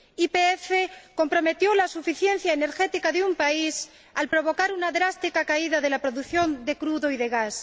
YPF comprometió la suficiencia energética de un país al provocar una drástica caída de la producción de crudo y de gas.